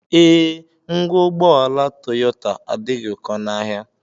Ee, ngwa ụgbọala Toyota adịghị ụkọ n'ahịa